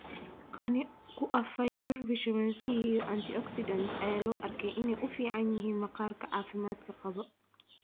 qani ku ah fiber, vitamin C, iyo antioxidants ayaa loo arkaa inay u fiican yihiin maqaarka caafimaadka qaba